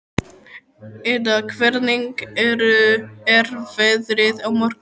Ida, hvernig er veðrið á morgun?